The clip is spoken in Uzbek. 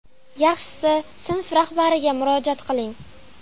Yaxshisi sinf rahbariga murojaat qiling.